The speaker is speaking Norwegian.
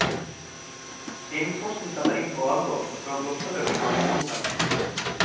Innen frosten setter inn for alvor, bør blomsterløken være i jorden.